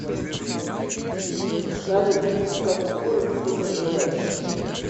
салют в каком городе ты проживаешь